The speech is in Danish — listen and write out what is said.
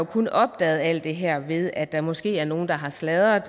kun opdaget alt det her ved at der måske er nogle der har sladret